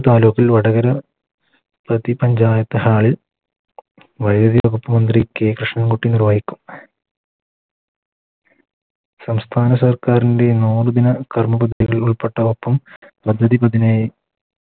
താലൂക്കിൽ വടകര പഞ്ചായത്ത് Hall ൽ വൈദ്യുതി വകുപ്പ് മന്ത്രി K കൃഷ്ണൻ കുട്ടി നിർവഹിക്കും സംസ്ഥാന സർക്കാരിൻറെ നാല് ദിന കർമ്മ പദ്ധതിയിൽ ഉൾപ്പെട്ടവർക്കും പദ്ധതി